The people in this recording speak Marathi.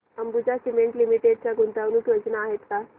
अंबुजा सीमेंट लिमिटेड च्या गुंतवणूक योजना आहेत का